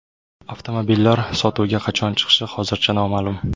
Avtomobillar sotuvga qachon chiqishi hozircha noma’lum.